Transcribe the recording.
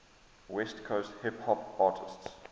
west coast hip hop artists